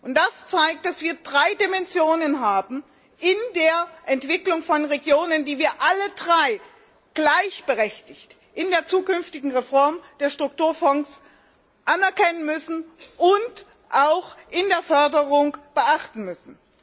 Und das zeigt, dass wir drei Dimensionen haben in der Entwicklung von Regionen, die wir alle drei gleichberechtigt in der zukünftigen Reform der Strukturfonds anerkennen müssen und auch in der Förderung beachten müssen.